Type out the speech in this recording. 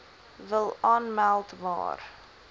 wil aanmeld maar